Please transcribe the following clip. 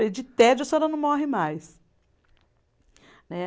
De tédio, a senhora não morre mais. Né